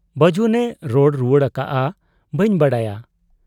ᱵᱟᱹᱡᱩᱱᱮ ᱨᱚᱲ ᱨᱩᱣᱟᱹᱲ ᱟᱠᱟᱜ ᱟ ᱵᱟᱹᱧ ᱵᱟᱰᱟᱭᱟ ᱾